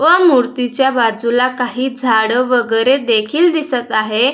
व मूर्तीच्या बाजूला काही झाड वगेरे देखील दिसत आहे.